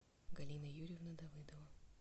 галина юрьевна давыдова